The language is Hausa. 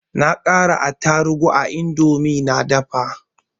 Na ƙara attaruhu a indomin da na dafa